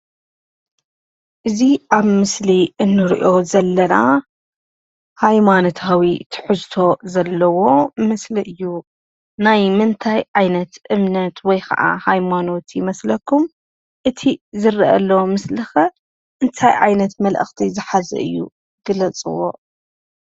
እዚ ኣብ ምስሊ ንርኦ ዘለና ሃይማኖታዊ ትሕዝቶ ዘለዎ ምስሊ እዩ። ናይ ምንታይ ዓይነት እምነት ወይ ከዓ ሃይማኖት ይመስለኩም ?እቲ ዝርኣ ዘሎ ምስሊ ከ እንታይ ዓይነት መልክቲ ዝሓዘ እዩ ግለፅዎ?